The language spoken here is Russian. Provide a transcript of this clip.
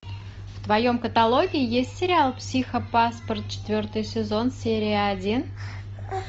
в твоем каталоге есть сериал психопаспорт четвертый сезон серия один